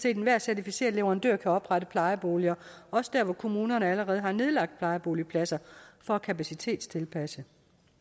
enhver certificeret leverandør kan oprette plejeboliger også dér hvor kommunerne allerede har nedlagt plejeboligpladser for at kapacitetstilpasse